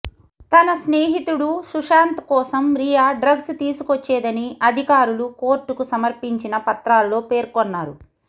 తన స్నేహితుడు సుశాంత్ కోసం రియా డ్రగ్స్ తీసుకొచ్చేదని అధికారులు కోర్టుకు సమర్పించిన పత్రాల్లో పేర్కొన్నారు